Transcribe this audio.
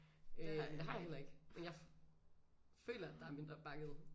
Øh det har jeg heller ikke men jeg føler der er mindre bakket